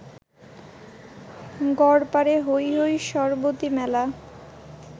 গড়পারে হৈ হৈ সরবতি মেলা